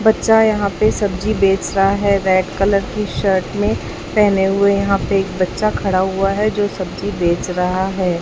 बच्चा यहां पे सब्जी बेच रहा है रेड कलर की शर्ट में पहने हुए यहां पे एक बच्चा खड़ा हुआ है जो सब्जी बेच रहा है।